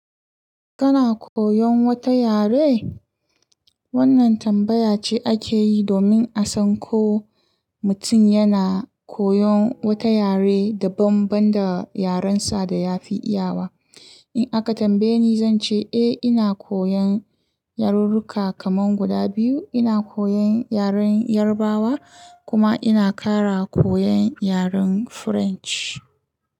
Kana koyon wata yare? Wannan tambaya ce ake yi domin a san ko mutum yana koyon wata yare daban-daban da yarensa da ya fi iyawa. In aka tambaye ni, zan ce eh ina koyon yarurruka kaman guda biyu. Ina koyon yaren Yarbawa kuma ina ƙara koyon yaren French.